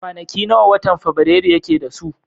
Kwanaki nawa watan fabirairu yake da su?